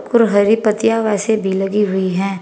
ओर हरे पत्तियां वैसे भी लगी हुई हैं।